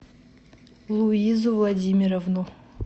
луизу владимировну